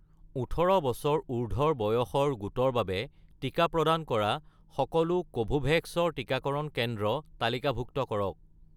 ১৮ বছৰ উৰ্ধ্বৰ বয়সৰ গোটৰ বাবে টিকা প্ৰদান কৰা সকলো কোভোভেক্স ৰ টিকাকৰণ কেন্দ্ৰ তালিকাভুক্ত কৰক